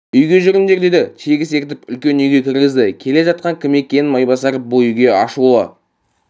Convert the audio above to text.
үйге жүріңдер деді тегіс ертіп үлкен үйге кіргізді келе жатқан кім екен майбасар бұл үйге ашулы